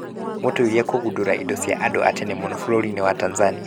Mũtuĩria kũgundũra indo cia andũ a tene mũno bũrũri-inĩ wa Tanzania